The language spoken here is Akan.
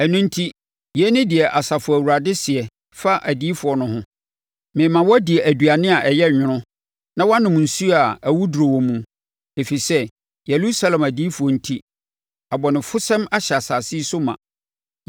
Ɛno enti, yei ne deɛ Asafo Awurade seɛ fa adiyifoɔ no ho: “Mema wɔadi aduane a ɛyɛ nwono na wɔanom nsuo a awuduro wɔ mu, ɛfiri sɛ Yerusalem adiyifoɔ enti, abɔnefosɛm ahyɛ asase yi so ma.”